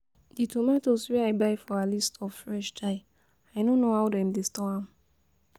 The tomatoes wey I buy for Ali store fresh die, I no know how dem dey store am